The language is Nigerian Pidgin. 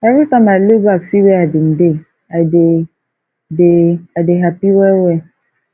everytime i look back see where i bin dey i dey dey i dey hapi well well